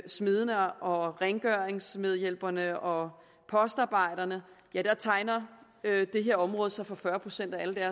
smedene og rengøringsmedhjælperne og postarbejderne tegner det her område sig for fyrre procent af